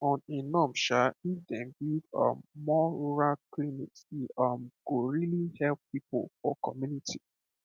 on a norms um if dem build um more rural clinics e um go really help people for community